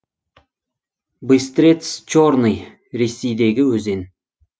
быстрец черный ресейдегі өзен